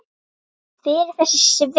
Hver er þessi Sveinn?